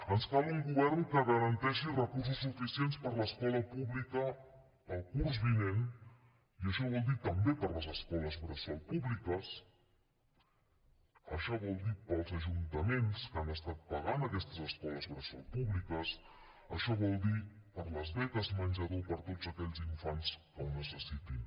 ens cal un govern que garanteixi recursos suficients per a l’escola pública per al curs vinent i això vol dir també per les escoles bressol públiques això vol dir per als ajuntaments que han estat pagant aquestes escoles bressol públiques això vol dir per a les beques menjador per a tots aquells infants que ho necessitin